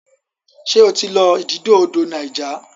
ṣe o tí lọ ididò odò Niger?